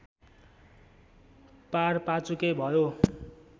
पारपाचुके भयो